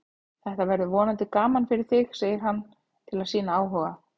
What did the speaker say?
Þetta verður vonandi gaman fyrir þig, segir hann til að sýna áhuga.